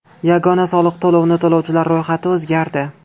Yagona soliq to‘lovini to‘lovchilar ro‘yxati o‘zgardi.